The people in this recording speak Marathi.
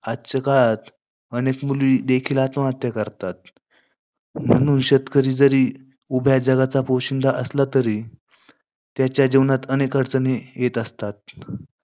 आजच्या काळात अनेक मुली देखील आत्महत्या करतात. म्हणून शेतकरी जरी उभ्या जगाचा पोशिंदा असला, तरी त्याच्या जिवनात अनेक अडचणी येत असतात.